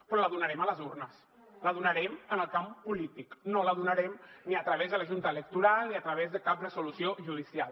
però la donarem a les urnes la donarem en el camp polític no la donarem ni a través de la junta electoral ni a través de cap resolució judicial